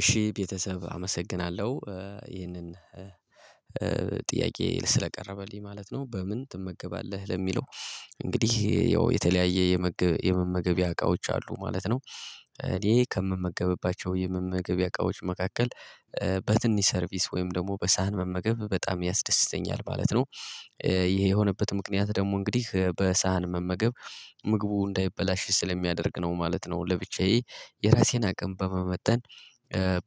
እሺ ቤተሰብ አመሰግናለሁ። ይህንን ጥያቄ ስለቀረበልኝ ማለት ነው በምን ትመገባለህ ለሚለው? እንግዲህ ያው የተለያየ የመመገቢያ እቃዎች አሉ ማለት ነው። እኔ ከምመገብባቸው የመመገብያ እቃዎች መካከል በትንሽ ሰርቪስ ወይም ደግሞ በሳህን መመገብ በጣም ያስደስተኛል ማለት ነው። ይሄ የሆነበት ምክንያት ደግሞ እንግዲህ በሳህን መመገብ ምግቡ እንዳይበላሽ ስለሚያደርግ ነው ማለት ነው ለብቻዬ የራሴን አቅም በመመጠን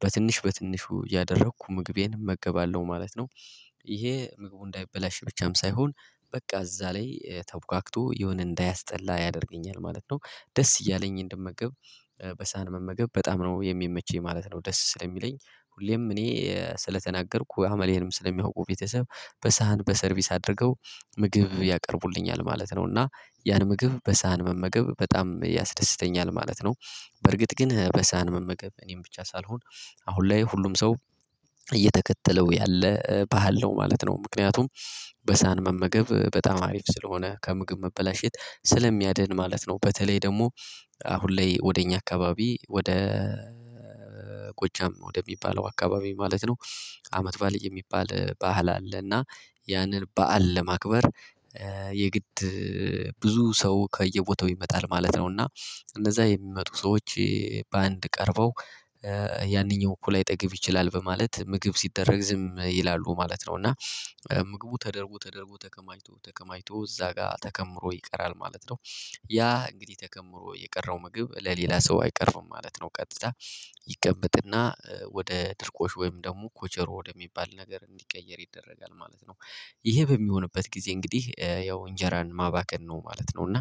በትንሽ በትንሹ እያደረኩ ምግቤን እመገባለሁ ማለት ነው። ይሄ ምግቡ እንዳይበላሽ ብቻም ሳይሆን በቃ እዛ ላይ ተቡካክቶ የሆነ እንዳያስጠላ ያደርገኛል ማለት ነው ደስ እያለኝ እንደምመገብ በሳህን መመገብ በጣም ነው የሚመቸኝ ማለት ነው። ደስ ስለሚለኝ ሁሌም እኔ ስለተናገርኩ አመሌንም ስለሚያውቁ ቤተሰብ በሳህን በሰርቪስ አድርገው ምግብ ያቀርቡልኛል ማለት ነው። እና ያን ምግብ በሳህን መመገብ በጣም ያስደስተኛል ማለት ነው። በእርግጥ ግን በሳህን መመገብ እኔም ብቻ ሳልሆን አሁን ላይ ሁሉም ሰው እየተከተለው ያለ ባህል ነው ማለት ነው ምክንያቱም በሳህን መመገብ በጣም አሪፍ ስለሆነ ከምግብ መበላሸት ስለሚያድን ማለት ነው። በተለይ ደግሞ አሁን ላይ ወደ እኛ አካባቢ ወደ ቆጃም ወደሚባለው አካባቢ ማለት ነው። አመት ባልዬ የሚባል ባህል አለና ያንን በዓል ለማክበር የግድ ብዙ ሰው ከየቦታው ይመጣል ማለት ነው። እና እንደዛ የሚመጡ ሰዎች በአንድ ቀርበው ያንኛው እኩል ላይጠገብ ይችላል በማለት ምግብ ሲደረግ ዝም ይላሉ ማለት ነው። እና ምግቡ ተደርጎ ተደርጎ ተከማይቾ ተከማይቾ እዛ ጋር ተከምሮ ይቀራል ማለት ነው። ያ እንግዲህ ተከምሮ የቀረው ምግብ ለሌላ ሰው አይቀርብም ማለት ነው። ቀጥታ ይቀመጥና ወደ ድርቆሽ ወይም ደግሞ ኮቸሮ ወደሚባል ነገር እንዲቀየር ይደረጋል ማለት ነው። ይሄ በሚሆንበት ጊዜ እንግዲህ ያው እንጀራን ማባከን ነው ማለት ነው እና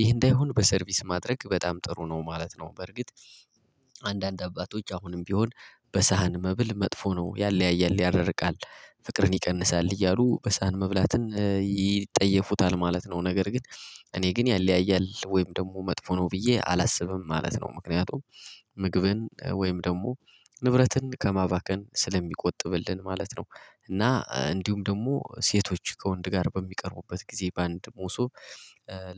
ይህ እንዳይሆን በሰርቪስ ማድረግ በጣም ጥሩ ነው ማለት ነው። በርግጥ አንዳንድ አባቶች አሁንም ቢሆን በሳህን መብል መጥፎ ነው ያለያያል ያራርቃል ፍቅርን ይቀንሳል እያሉ በሳህን መብላትን ይጠየፉታል ማለት ነው። ነገር ግን እኔ ግን ያለያያል ወይም ደግሞ መጥፎ ነው ብዬ አላስብም ማለት ነው። ምክንያቱም ምግብን ወይም ደግሞ ንብረትን ከማባከን ስለሚቆጥብልን ማለት ነው። እና እንዲሁም ደግሞ ሴቶች ከወንድ ጋር በሚቀርቡበት ጊዜ በአንድ ሞሶብ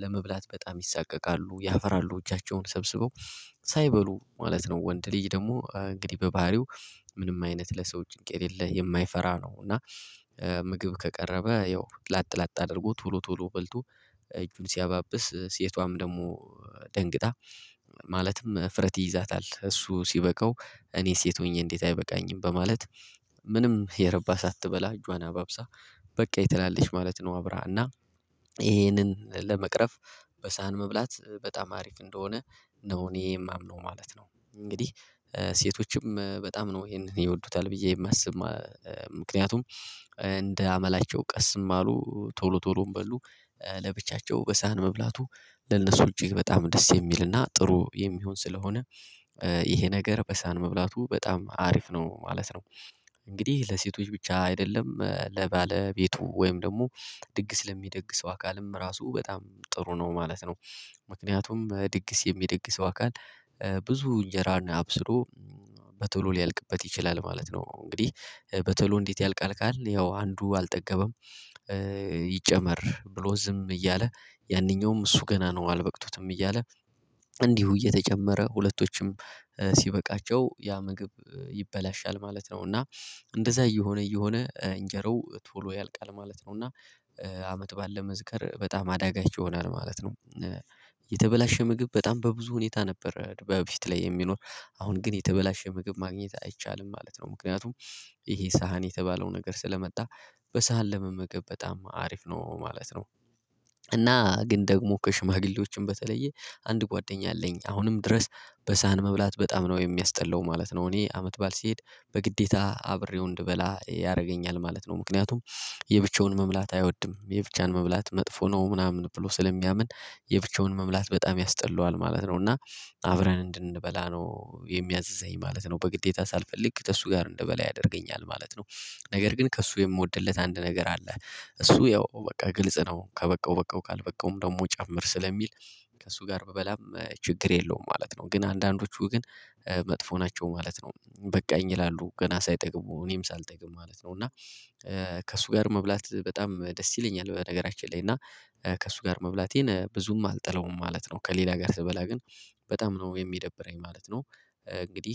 ለመብላት በጣም ይሰቀቃሉ ያፍራሉ እጃቸውን ሰብስበው ሳይበሉ ማለት ነው። ወንድ ልጅ ደግሞ እንግዲህ በባህሪው ምንም አይነት ለሰዎች የሌለ የማይፈራ ነው እና። ምግብ ከቀረበ ያው ላጥ ላጥ አድርጎ ቶሎ ቶሎ በልቶ እጁን ሲያባብስ ሴቷም ደግሞ ደንግጣ ማለትም እፍረት ይይዛታል እሱ ሲበቃው እኔ ሴት ሆኜ እንዴት አይበቃኝም በማለት ምንም የረባ ሳትበላ እጇን አባብሳ በቃ የተላለች ማለት ነው። አብራ እና ይሄንን ለመቅረፍ በሳህን መብላት በጣም አሪፍ እንደሆነ ነው እኔ የማምነው ማለት ነው። እንግዲህ ሴቶችም በጣም ነው ይሄንን ይወዱታል ብዬ የማስብ ምክንያቱም እንደ አመላቸው ቀስም አሉ ቶሎ ቶሎም በሉ ለብቻቸው በሳህን መብላቱ ለነሱ ውጪ በጣም ደስ የሚልና ጥሩ የሚሆን ስለሆነ ይሄ ነገር በሳህን መብላቱ በጣም አሪፍ ነው ማለት ነው። እንግዲህ ለሴቶች ብቻ አይደለም ለባለቤቱ ወይም ደግሞ ድግስ ለሚደግሰው አካልም ራሱ በጣም ጥሩ ነው ማለት ነው። ምክንያቱም ድግስ የሚደግሰው አካል ብዙ እንጀራን አብስሎ በቶሎ ሊያልቅበት ይችላል ማለት ነው። እንግዲህ በቶሎ እንዴት ያልቃል ካልን ያው አንዱ አልጠገበም? ይጨመር ብሎ ዝም እያለ ያንኛውም እሱ ገና ነው አልበቅቱትም እያለ እንዲሁ እየተጨመረ ሁለቶችም ሲበቃቸው ያ ምግብ ይበላሻል ማለት ነው። እና እንደዛ እየሆነ እየሆነ እንጀራው ቶሎ ያልቃል ማለት ነው። እና አመት ባለ መዝከር በጣም አዳጋች ይሆናል ማለት ነው። የተበላሸ ምግብ በጣም በብዙ ሁኔታ ነበር በፊት ላይ የሚኖር አሁን ግን የተበላሸ ምግብ ማግኘት አይቻልም ማለት ነው። ምክንያቱም ይሄ ሳህን የተባለው ነገር ስለመጣ በሳህን ለመመገብ በጣም አሪፍ ነው ማለት ነው። እና ግን ደግሞ ከሽማግሌዎችም በተለየ አንድ ጓደኛ አለኝ አሁንም ድረስ በሳህን መብላት በጣም ነው የሚያስጠላው ማለት ነው። እኔ አመት በዓል ሲሄድ በግዴታ አብሬው እንድበላ ያደርገኛል ማለት ነው። ምክንያቱም የብቻውን መብላት አይወድም የብቻን መብላት መጥፎ ነው ምናምን ብሎ ስለሚያምን የብቻውን መምላት በጣም ያስጠላዋል ማለት ነው። እና አብረን እንድንበላ ነው የሚያዝዘኝ ማለት ነው በግዴታ ሳልፈልግ ከእሱ ጋር እንድበላ ያደርገኛል ማለት ነው። ነገር ግን ከእሱ የምወድለት አንድ ነገር አለ እሱ ያው በቃ ግልጽ ነው ከበቃው በቃው ካልበቃውም ደግሞ ጨምር ስለሚል ከእሱ ጋር ብበላም ችግር የለውም ማለት ነው። ግን አንዳንዶቹ ግን መጥፎ ናቸው ማለት ነው። በቃኝ ይላሉ ገና ሳይጠቅሙ እኔም ሳልጠግብ ማለት ነው። እና ከእሱ ጋር መብላት በጣም ደስ ይለኛል። በነገራችን ላይ እና ከእሱ ጋር መብላቴን ብዙም አልጠላውም ማለት ነው። ከሌላ ጋር ስበላ ግን በጣም ነው የሚደብረኝ ማለት ነው። እንግዲህ